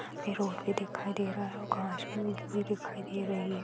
पे रोड भी दिखाई दे रहा है और घास भी उगी हुई दिखाई दे रही है।